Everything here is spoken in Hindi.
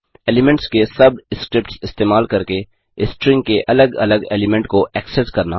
4एलीमेंट्स के सब स्क्रिप्ट्स इस्तेमाल करके स्ट्रिंग के अलग अलग एलीमेंट को एक्सेस करना